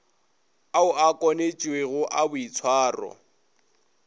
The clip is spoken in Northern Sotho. ao a kwanetšwego a boitshwaro